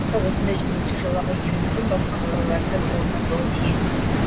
уақытта осындай жүргінші жолағы еліміздің басқа қалаларында да орнатылуы тиіс